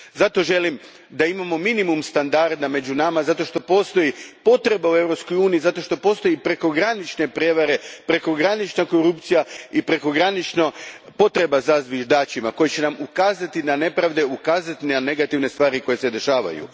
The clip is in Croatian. Zato želim da imamo minimalni standard među nama, zato što postoji potreba u EU u, postoje prekogranične prijevare, prekogranična korupcija i prekogranična potreba za zviždačima koji će nam ukazati na nepravde i negativne stvari koje se dešavaju.